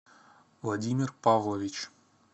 владимир павлович